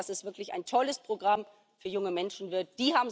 Ich hoffe, dass es wirklich ein tolles Programm für junge Menschen wird.